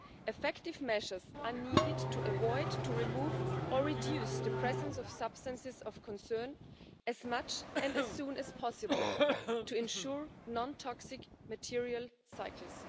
Effective measures are needed to avoid, remove, or reduce the presence of substances of concern as much and as soon as possible to ensure non toxic material cycles.